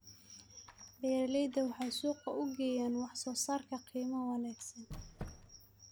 Beeraleydu waxay suuqa u geeyaan wax soo saarkooda qiimo wanaagsan.